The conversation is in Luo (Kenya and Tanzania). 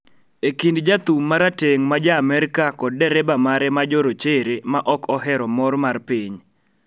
E kind jathum ma rateng ' ma Ja - Amerka kod dereba mare ma jorochere ma ok ohero mor mar piny